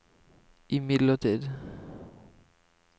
imidlertid